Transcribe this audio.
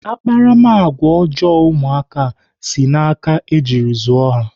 Akparamagwa ọjọọ ụmụaka si n'aka ejiri zụọ ha.